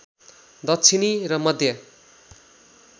दक्षिणी र मध्य